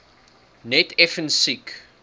net effens siek